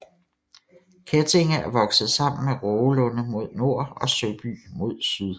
Kettinge er vokset sammen med Rågelunde mod nord og Søby mod syd